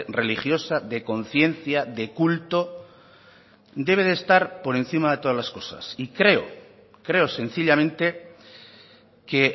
religiosa de conciencia de culto debe de estar por encima de todas las cosas y creo creo sencillamente que